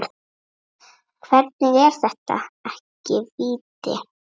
Hvernig er þetta ekki víti?